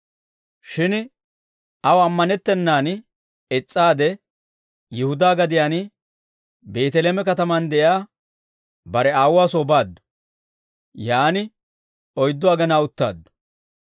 Shin aw amanettennaan is's'aade, Yihudaa gadiyaan Beeteleeme katamaan de'iyaa bare aawuwaa soy baaddu; yaan oyddu agenaa uttaaddu.